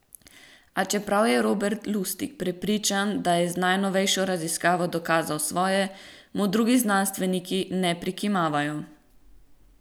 A čeprav je Robert Lustig prepričan, da je z najnovejšo raziskavo dokazal svoje, mu drugi znanstveniki ne prikimavajo.